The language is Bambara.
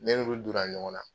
Ne n'ulu donna ɲɔgɔn na